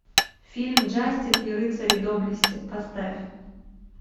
фильм джастин и рыцари доблести поставь